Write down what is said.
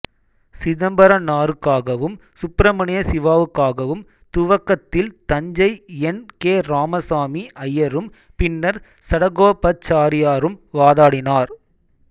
சிதம்பரனாருக்காகவும் சுப்பிரமணிய சிவாவுக்காகவும் துவக்கத்தில் Thanjai N K Ramasamy ஐயரும் பின்னர் சடகோபாச்சாரியாரும் வாதாடினர்